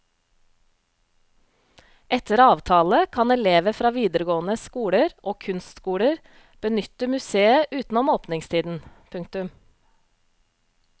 Etter avtale kan elever fra videregående skoler og kunstskoler benytte museet utenom åpningstiden. punktum